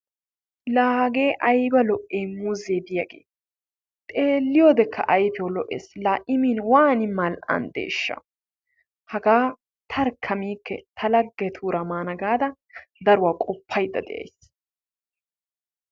La hagee aybba lo''i muuze diyaage! xeeliyoodekka ayfiyaw lo''ees. La I min waan mal''andeshsha! haga tarkka miike ta laggetuura maana gaada daruwaa qopaydda de'ays.